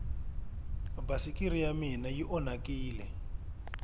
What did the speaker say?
basikiri ya mina yi anhakini